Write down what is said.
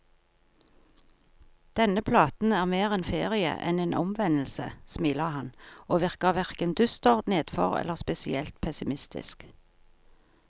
Denne platen er mer en ferie enn en omvendelse, smiler han, og virker hverken dyster, nedfor eller spesielt pessimistisk.